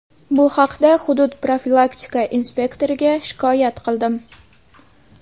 Bu haqda hudud profilaktika inspektoriga shikoyat qildim.